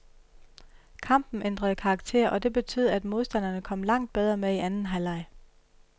Kampen ændrede karakter, og det betød, at modstanderne kom langt bedre med i anden halvleg.